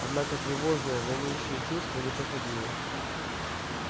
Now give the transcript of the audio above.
однако тревожное волнующее чувство не проходило